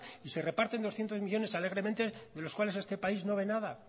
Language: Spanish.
y se reparten doscientos millónes alegremente de los cuales este país no ve nada